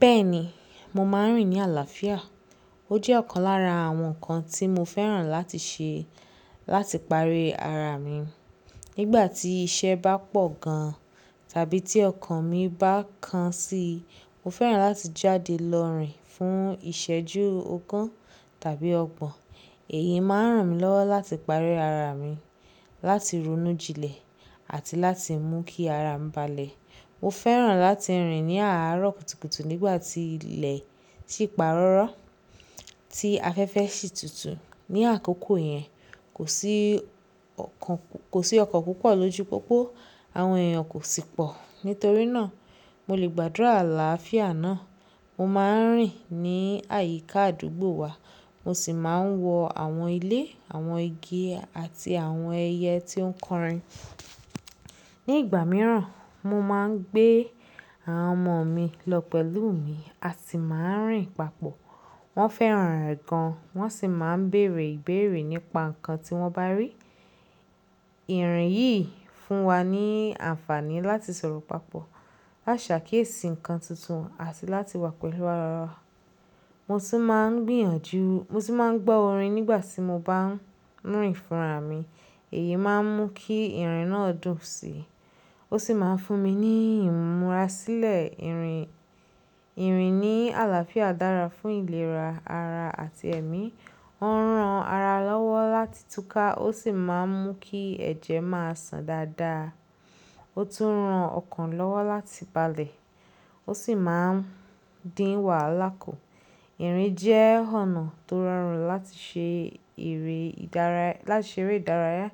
Bẹ́ẹ̀ni, mo máa ń rìn ní àlàáfíà. Ó jẹ́ ọ̀kan lára àwọn nǹkan tí mo fẹ́ràn láti ṣe láti parí ara mi. Nígbà tí iṣẹ́ bá pọ̀ gan tàbí tí ọkàn mi bá kan si, mo fẹ́ràn láti jáde lọ rìn fún ìṣẹ́jú ogún tàbí ọgbọ̀n. Èyí máa ń ràn mí lọ́wọ́ láti parí ara mi, láti ronú jinlẹ̀ àti láti mú kí ara mi balẹ̀. Mo fẹ́ràn láti rìn ní àárọ̀ kùtùkùtù nígbà tí ilẹ̀ sì párọ́rọ́, tí afẹ́fẹ́ sì tutù. Ní àkókò yẹn, kò sí ọkọ̀ púpọ̀ lójú pópó, àwọn èèyàn kò sì pọ̀. Nítorí náà, mo lè gbàdúrà àlàáfíà náà. Mo máa ń rìn ní àyíká àdúgbò wa, mo sì máa ń wọ àwọn ilé, àwọn igi àti àwọn ẹyẹ tí ó ń kọrin. Ní ìgbà mìíràn, mo máa ń gbé àwọn ọmọ mi lọ pẹ̀lú mi a sì máa ń rìn papọ̀. Wọ́n fẹ́ràn rẹ̀ gan, wọ́n sì máa ń bèèrè ìbéèrè nípa nǹkan tí wọ́n bá rí. Ìrìn yìí fún wa ní àǹfààní láti sọ̀rọ̀ papọ̀, láti ṣàkíyèsí nǹkan tuntun àti láti wà pẹ̀lú ara wa. Mo sì máa ń gbìyànjú, mo sì máa ń gbọ́ orin nígbà tí mo bá ń rìn fúnra mi. Èyí máa ń mú kí ìrìn náà dùn síi, ó sì máa ń fún mi ní ìmúra sílẹ̀ ìrìn. Ìrìn ní àlàáfíà dára fún ìlera ara àti ẹ̀mí. Ó ń ran ara lọ́wọ́ láti túká, ó sì máa ń mú kí ẹ̀jẹ̀ máa sàn dáadáa. Ó tún ń ran ọkàn lọ́wọ́ láti balẹ̀, ó sì máa ń dín wàhálà kù. Ìrìn jẹ́ ọ̀nà tó rọrùn láti ṣe eré ìdárayá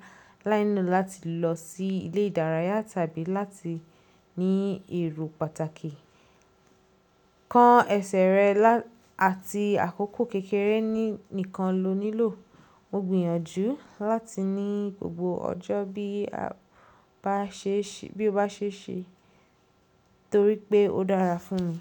láínilo láti lọ sí ilé ìdárayá tàbí láti ní èrò pàtàkì. Kan ẹsẹ̀ rẹ àti àkókò kékeré nìkan lo nílò. Mo gbìyànjú láti ní gbogbo ọjọ́ bí ó bá ṣe ṣe torípé ó dára fún mi.